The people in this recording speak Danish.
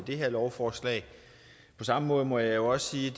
her lovforslag på samme måde må jeg også sige